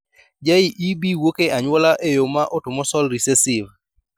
JEB wuok e anyuola e yo ma autosomal recessive